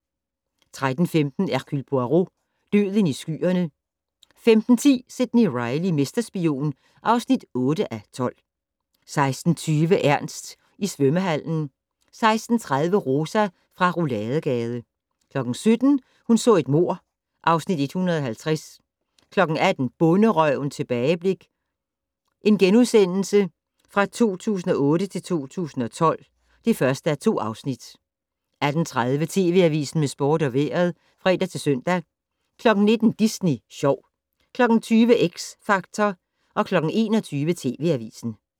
13:15: Hercule Poirot: Døden i skyerne 15:10: Sidney Reilly - mesterspion (8:12) 16:20: Ernst i svømmehallen 16:30: Rosa fra Rouladegade 17:00: Hun så et mord (Afs. 150) 18:00: Bonderøven - tilbageblik 2008-2012 (1:2)* 18:30: TV Avisen med sport og vejret (fre-søn) 19:00: Disney Sjov 20:00: X Factor 21:00: TV Avisen